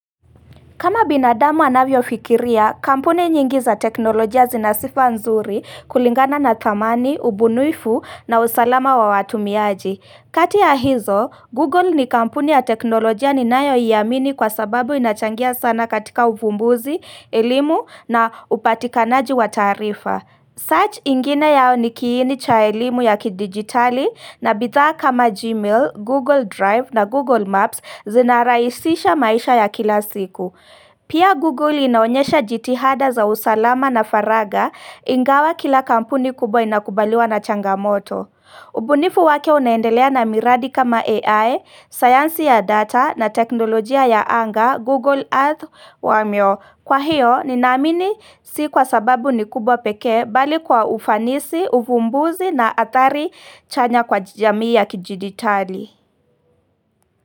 Kama binadamu anavyo fikiria, kampuni nyingi za teknolojia zinasifa nzuri kulingana na thamani, ubunwifu na usalama wa watumiaji. Kati ya hizo, Google ni kampuni ya teknolojia ninayo iamini kwa sababu inachangia sana katika ufumbuzi, elimu na upatikanaji wa tarifa. Search ingine yao ni kiini cha ilimu ya kidigitali na bithaa kama Gmail, Google Drive na Google Maps zinaraisisha maisha ya kila siku. Pia Google inaonyesha jitihada za usalama na faraga ingawa kila kampuni kubwa inakubaliwa na changamoto. Ubunifu wake unaendelea na miradi kama AI, sayansi ya data na teknolojia ya anga Google Earth wa myo. Kwa hiyo, ninamini si kwa sababu ni kubwa peke bali kwa ufanisi, ufumbuzi na atari chanya kwa jamii ya kijiditari.